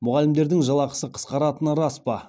мұғалімдердің жалақысы қысқаратыны рас па